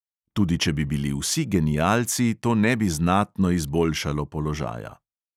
Tudi če bi bili vsi genialci, to ne bi znatno izboljšalo položaja.